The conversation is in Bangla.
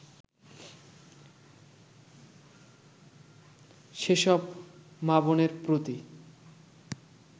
সেসব মা-বোনের প্রতি